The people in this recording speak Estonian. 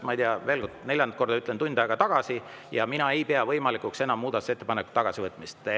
Meie hääletus algas, ma ei tea, neljandat korda ütlen, tund aega tagasi ja mina ei pea muudatusettepaneku tagasivõtmist enam võimalikuks.